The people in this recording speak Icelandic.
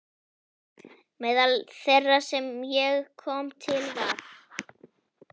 Meðal þeirra sem ég kom til var